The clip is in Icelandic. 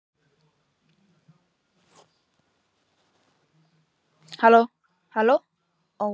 Það var í mörgu að snúast.